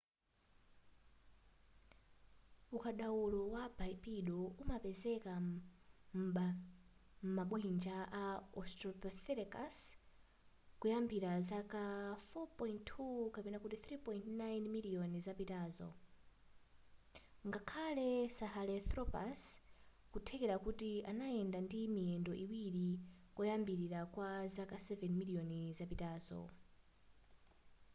ukadaulo wa bipedal umapezeka m'mabwinja a australopithecus kuyambira zaka 4.2-3.9 miliyoni zapitazo ngakhale sahelanthropus nkutheka kuti anayenda ndi miyendo iwiri koyambilira kwa zaka 7 miliyoni zapitazo